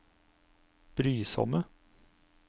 brysomme